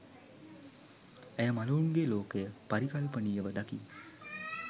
ඇය මළවුන්ගේ ලෝකය පරිකල්පනීයව දකි